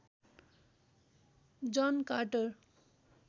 John Carter